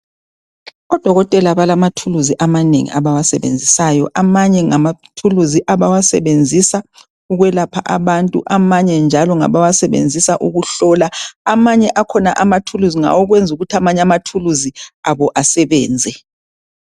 Odokotela balamathuluzi amanengi abawasebenzisayo ,amanye ngamathuluzi abawasebenzisa ukwelapha abantu .Amanye njalo ngabawasebenzisa ukuhlola amanye akhona amathuluzi ngawokwenzukuthi amanye amathuluzi abo asebenze.